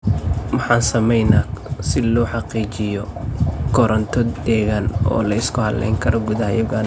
Maxaan sameeynaa si loo xaqiijiyo koronto deggan oo la isku halayn karo gudaha Uganda?